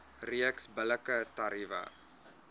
reeks billike tariewe